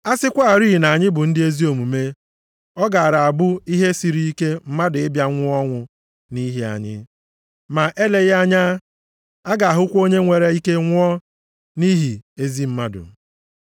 A sịkwarị na anyị bụ ndị ezi omume ọ gaara abụ ihe siri ike mmadụ ịbịa nwụọ ọnwụ nʼihi anyị. Ma eleghị anya, a ga-ahụkwa onye nwere ike nwụọ nʼihi ezi mmadụ.